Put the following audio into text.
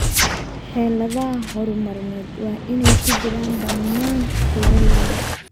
Xeeladaha horumarineed waa inay ku jiraan dhammaan beeralayda.